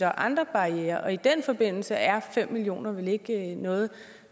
og andre barrierer og i den forbindelse er fem million kroner vel ikke noget